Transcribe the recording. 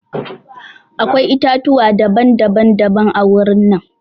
Akwai itãtuwa daban daban-daban a wurin nan.